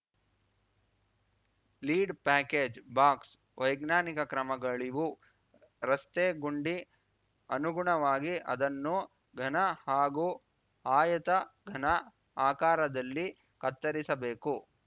lead package box ವೈಜ್ಞಾನಿಕ ಕ್ರಮಗಳಿವು ರಸ್ತೆ ಗುಂಡಿ ಅನುಗುಣವಾಗಿ ಅದನ್ನು ಘನ ಹಾಗೂ ಆಯತ ಘನ ಆಕಾರದಲ್ಲಿ ಕತ್ತರಿಸಬೇಕು